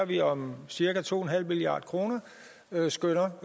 vi om cirka to en halv milliard kr skønner